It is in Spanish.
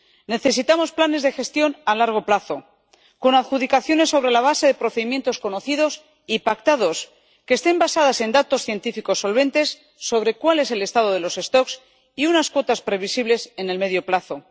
Necesitamos planes de gestión a largo plazo, con adjudicaciones sobre la base de procedimientos conocidos y pactados, que estén basadas en datos científicos solventes sobre cuál es el estado de los stocks y unas cuotas previsibles en el medio plazo.